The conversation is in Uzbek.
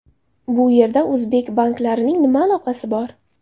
Bu yerda o‘zbek banklarining nima aloqasi bor?